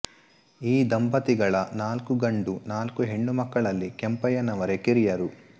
ಈ ದಂಪತಿಗಳ ನಾಲ್ಕು ಗಂಡು ನಾಲ್ಕು ಹೆಣ್ಣು ಮಕ್ಕಳಲ್ಲಿ ಕೆಂಪಯ್ಯನವರೆ ಕಿರಿಯರು